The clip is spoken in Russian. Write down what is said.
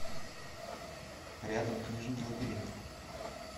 рядом книжный лабиринт